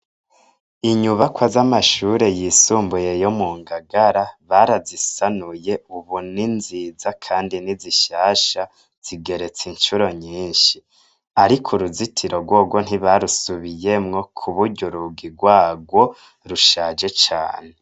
Inyubakwa z'amashure yisumbuye yo mu Ngagara barazisanuye ubu ni nziza kandi ni zishasha, zigeretse incuro nyinshi. Ariko uruzitiro rworwo ntibarusubiyemwo ku buryo urugi rwarwo rushaje cane.